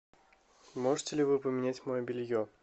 можете ли вы поменять мое белье